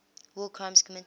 war crimes committed